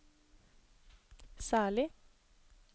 særlig